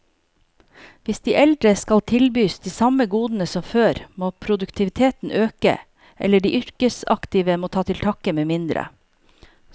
Hvis de eldre skal tilbys de samme godene som før, må produktiviteten øke, eller de yrkesaktive må ta til takke med mindre.